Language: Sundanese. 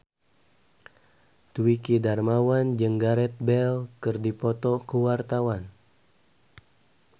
Dwiki Darmawan jeung Gareth Bale keur dipoto ku wartawan